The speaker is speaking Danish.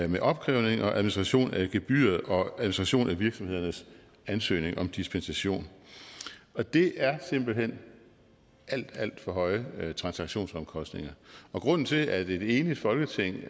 med opkrævning og administration af gebyrer og administration af virksomhedernes ansøgning om dispensation og det er simpelt hen alt alt for høje transaktionsomkostninger grunden til at et enigt folketing